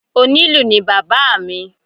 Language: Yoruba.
Onílù ni bàbá à mi.